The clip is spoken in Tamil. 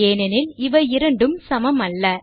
ஏனெனில் இவை இரண்டும் சமமல்ல